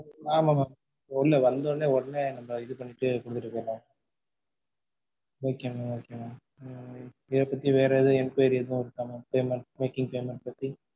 ஆமா mam ஒன்னு இல்ல வந்த உடனே நம்ம இது பண்ணிட்டு bill குடுப்போம் mam okay mam okay mam உம் இது பத்தி வேற எதும் enquiry இருக்கா mam payment making payment பத்தி?